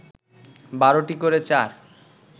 ১২টি করে চার